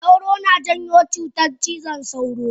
Sauro na janyo cutar cizon sauro?